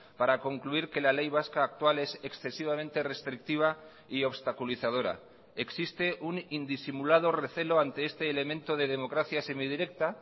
para concluir que la ley vasca actual es excesivamente restrictiva y obstaculizadora existe un indisimulado recelo ante este elemento de democracia semidirecta